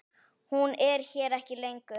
Hún er hér ekki lengur.